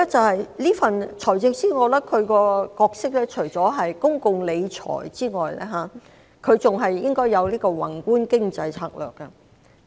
第二，財政司司長除管理公共財政外，還應該要有宏觀的經濟策略。